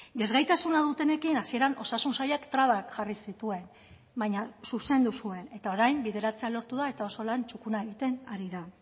desgaitasuna dutenekin hasieran osasun sailak trabak jarri zituen baina zuzendu zuen eta orain bideratzea lortu da eta oso lan txukuna egiten ari da